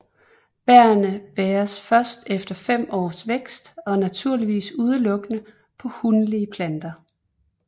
Bærrene bæres først efter 5 års vækst og naturligvis udelukkende på hunlige planter